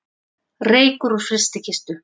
Reykur úr frystikistu